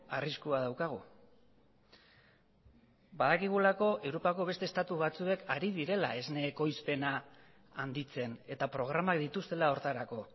arriskua daukagu badakigulako europako beste estatu batzuek ari direla esne ekoizpena handitzen eta programak dituztela horretarako